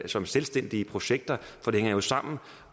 som selvstændige projekter for det hænger jo sammen